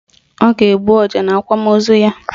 Ọ ga-egbu ọja n'akwamaozu ya